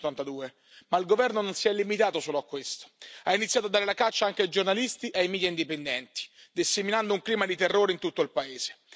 1982. Ma il governo non si è limitato solo a questo, ha iniziato a dare la caccia anche ai giornalisti e ai media indipendenti disseminando un clima di terrore in tutto il paese.